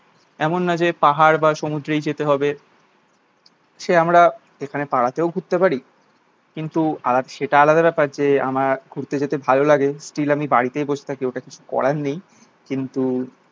এমন না যে পাহাড় বা সমুদ্রেই যেতে হবে। সে আমরা এখানে পাড়াতেও ঘুরতে পারি। কিন্তু আলা সেটা আলাদা ব্যাপার যে, আমার ঘুরতে যেতে ভালো লাগে স্টিল আমি বাড়িতেই বস থাকি ওটার কিছু করার নেই। কিন্তু